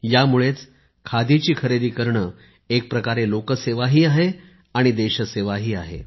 यामुळेच खादीची खरेदी करणे एकप्रकारे लोकसेवाही आहे आणि देशसेवाही आहे